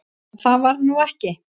En það varð nú ekki.